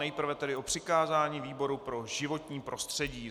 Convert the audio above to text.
Nejprve tedy o přikázání výboru pro životní prostředí.